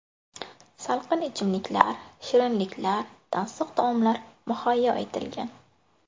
Salqin ichimliklar, shirinliklar, tansiq taomlar muhayyo etilgan.